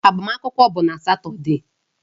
Agbamakwụkwọ bụ na Satọde